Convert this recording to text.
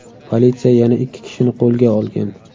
Politsiya yana ikki kishini qo‘lga olgan.